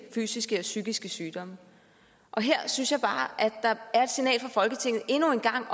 fysiske og psykiske sygdomme her synes jeg bare at der endnu en gang